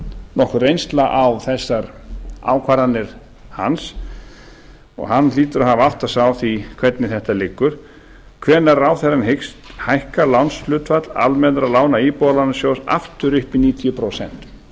nokkur reynsla á þessar ákvarðanir hans og hann hlýtur að hafa áttað sig á því hvernig þetta liggur hvenær ráðherrann hyggst hækka lánshlutfall almennra lána íbúðalánasjóði aftur upp í níutíu prósent